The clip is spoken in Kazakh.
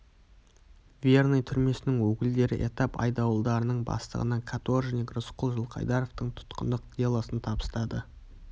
верный түрмесінің өкілдері этап айдауылдарының бастығына каторжник рысқұл жылқайдаровтың тұтқындық делосын табыстады